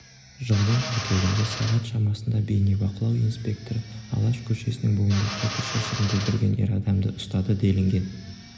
жылдың қыркүйегінде сағат шамасында бейнебақылау инспекторы алаш көшесінің бойында қоқыс жәшігін бүлдірген ер адамды ұстады делінген